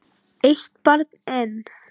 Eitt barn enn?